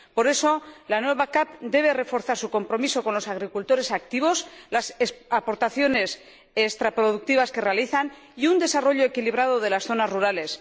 Por eso, la nueva PAC debe reforzar su compromiso con los agricultores activos, las aportaciones extraproductivas que realizan y un desarrollo equilibrado de las zonas rurales.